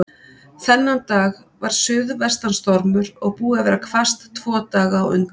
Þennan dag var suðvestan stormur og búið að vera hvasst tvo daga á undan.